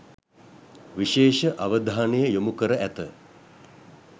විශේෂ අවධානය යොමු කර ඇත.